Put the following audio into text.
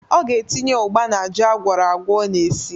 Ọ ga-etinye ụgba n'ji agwọrọagwọ ọ na-esi.